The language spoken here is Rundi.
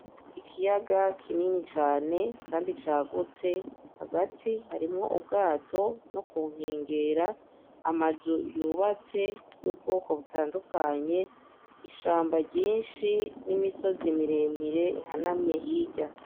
Ikiyaga kinini cane kandi cagutse. Hagati harimwo ubwato, no ku nkengera, amazu yubatse y'ubwoko butandukanye, ishamba ryinshi n'imisozi miremire ihanamye hirya.